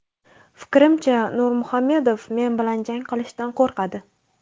Fikrimcha, Nurmuhamedov men bilan jang qilishdan qo‘rqadi.